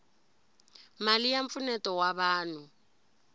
mali ya mpfuneto wa vanhu